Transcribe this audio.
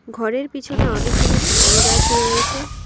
ঘরের পিছনে অনেকগুলি সুপারি গাছ রয়েছে।